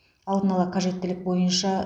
алдын ала қажеттілік бойынша